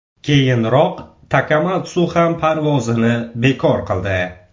Keyinroq Takamatsu ham parvozini bekor qildi.